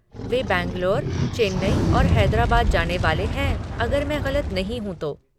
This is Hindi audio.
वे बैंगलोर, चेन्नई और हैदराबाद जाने वाले हैं, अगर मैं ग़लत नहीं हूँ तो।